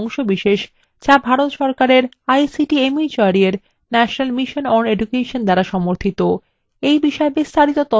যা ভারত সরকারের ict mhrd এর national mission on education দ্বারা সমর্থিত